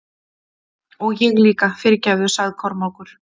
Og ég líka, fyrirgefðu, sagði Kormákur.